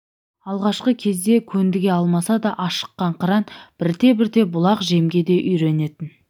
алғашқы кезде көндіге алмаса да ашыққан қыран бірте-бірте бұл ақ жемге де үйренетін